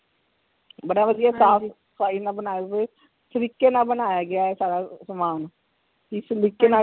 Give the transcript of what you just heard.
ਬੜਾ ਵਧੀਆ ਸਾਫ ਸਫਾਈ ਨਾਲ ਬਣਾਏ ਹੋਏ ਤਰੀਕੇ ਨਾਲ ਬਣਾਇਆ ਗਿਆ ਸਾਰਾ ਸਾਮਾਨ